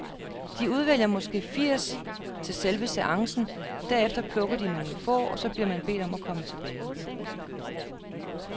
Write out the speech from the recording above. De udvælger måske firs til selve seancen, derefter plukker de nogle få, og så bliver man bedt om at komme tilbage.